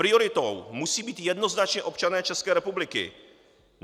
Prioritou musí být jednoznačně občané České republiky.